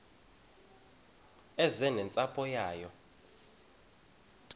eze nentsapho yayo